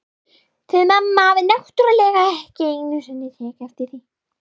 Þið mamma hafið náttúrlega ekki einu sinni tekið eftir því.